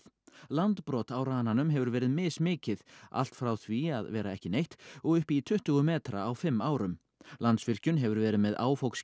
landbrot á rananum hefur verið mismikið allt frá því að vera ekki neitt og upp í tuttugu metra á fimm árum Landsvirkjun hefur verið með